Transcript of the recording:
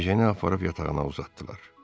Ejeni aparıb yatağına uzatdılar.